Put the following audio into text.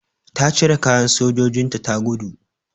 Ta cire kayan sojojinta ta gudu.